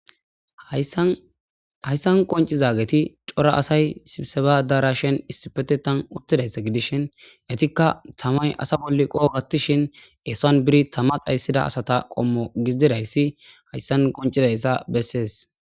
Haysan qoncizagetti cora assay sibissebba adareshshen issipetetan uttidayssa gidishshin ettikka tammay assa bolla qoha gattishshin esuwan biri tamma dhaysidda assatta qommoti gidizaysi hayssan qoncizayssa besees